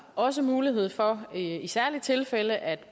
også mulighed for i særlige tilfælde at